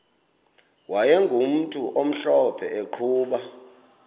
wayegumntu omhlophe eqhuba